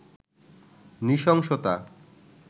নৃশংসতা